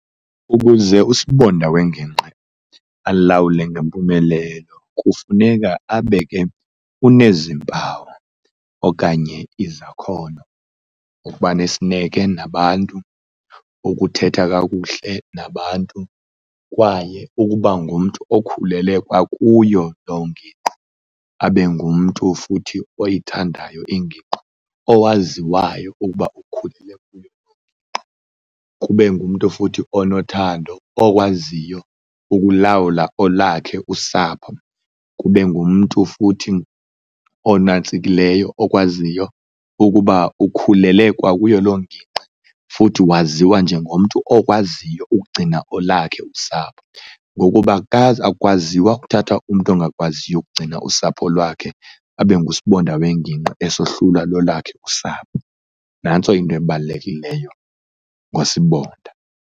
Ukuze usibonda wengingqi alawule ngempumelelo kufuneka abe ke unezimpawu okanye izakhono, ukuba nesineke nabantu, ukuthetha kakuhle nabantu kwaye ukuba ngumntu okhulele kwakuyo loo ngingqi. Abe ngumntu futhi oyithandayo ingingqi, owaziwayo ukuba ukhulele kuloo nginqqi. Kube ngumntu futhi onothando, okwaziyo ukulawula olakhe usapho. Kube ngumntu futhi onantsikileyo, okwaziyo ukuba ukhulele kwakuyo loo ngingqi futhi waziwa njengomntu okwaziyo ukugcina elakhe usapho ngokuba akwaziwa ukuthatha umntu ongakwaziyo ukugcina usapho lwakhe abe ngusibonda wengingqi esohlulwa lolwakhe usapho. Nantso into ebalulekileyo ngosibonda.